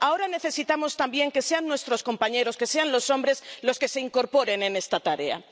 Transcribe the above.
Ahora necesitamos también que sean nuestros compañeros, que sean los hombres los que se incorporen a esta tarea.